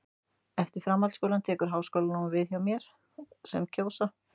Eftir framhaldsskólann tekur háskólanám við hjá þeim sem það kjósa.